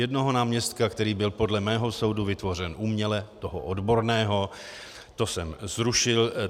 Jednoho náměstka, který byl podle mého soudu vytvořen uměle, toho odborného, to jsem zrušil.